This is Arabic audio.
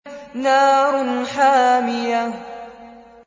نَارٌ حَامِيَةٌ